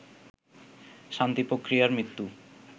শান্তি প্রক্রিয়ার মৃত্যু